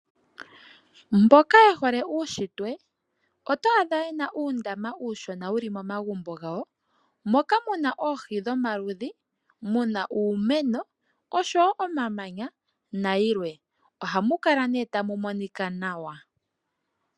Mboka ye hole uunshitwe oto adha ye na uundama uushona wu li momagumbo gawo, moka mu na oohi dhomaludhi, mu na uumeno nosho wo omamanya nayilwe. Ohamu kala nduno tamu monika nawa